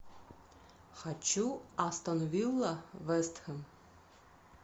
хочу астон вилла вест хэм